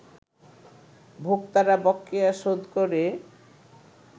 ভোক্তারা বকেয়া শোধ করে